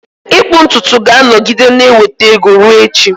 Ịkpụ ntutu ga-anọgide na-enweta ego ruo echi.